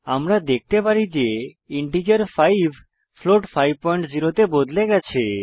আমরা দেখতে পারি যে ইন্টিজার 5 ফ্লোট 50 তে বদলে গেছে